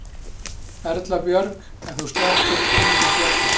Erla Björg: En þú sleppir engum böllum?